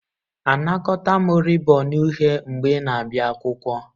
Anakọta m rịbọn uhie mgbe ị na-abịa akwụkwọ.